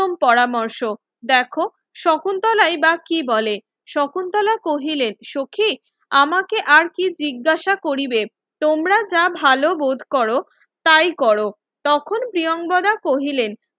উত্তম পরামর্শ দেখো শকুন্তলাই বা কি বলে শকুন্তলা কহিলেন সখি আমাকে আরকি জিজ্ঞাসা করিবে তোমরা যা ভালো বোধ করো তাই করো তখন প্রিয়াঙ্গদা কহিলেন